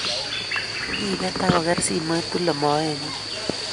Kipet ako ker simoit tule moenyun.